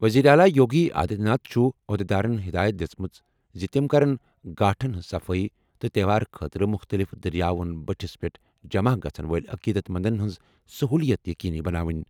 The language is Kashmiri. وزیر اعلیٰ یوگی آدتیہ ناتھ چھُ عہدیدارَن ہدایت دِژمٕژ زِ تِم کرَن گھاٹَن ہٕنٛز صفٲیی تہٕ تہوار خٲطرٕ مُختٔلِف دٔریاوَن بٔٹھِس پٮ۪ٹھ جمع گژھَن وٲلۍ عقیدت مندَن ہٕنٛز سٔہوٗلِیَت یقینی بناونۍ۔